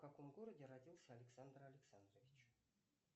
в каком городе родился александр александрович